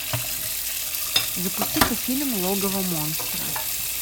запусти ка фильм логово монстра